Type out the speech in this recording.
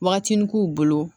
Wagatini k'u bolo